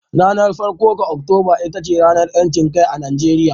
Ranar farko ga Oktoba ita ce ranar 'yancin kai a Najeriya